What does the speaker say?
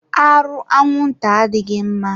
Arụ anwụnta adịghị mma.